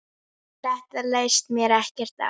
Þetta leist mér ekkert á.